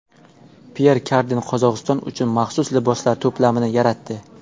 Pyer Karden Qozog‘iston uchun maxsus liboslar to‘plamini yaratdi.